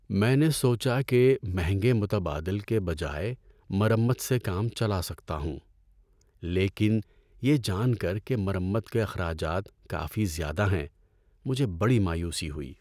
میں نے سوچا کہ میں مہنگے متبادل کے بجائے مرمت سے کام چلا سکتا ہوں، لیکن یہ جان کر کہ مرمت کے اخراجات کافی زیادہ ہیں، مجھے بڑی مایوسی ہوئی۔